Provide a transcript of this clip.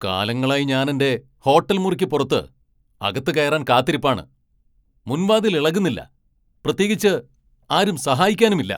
കാലങ്ങളായി ഞാനെന്റെ ഹോട്ടൽ മുറിക്ക് പുറത്ത് അകത്ത് കയറാൻ കാത്തിരിപ്പാണ്, മുൻവാതിൽ ഇളകുന്നില്ല! പ്രത്യേകിച്ച് ആരും സഹായിക്കാനും ഇല്ലാ.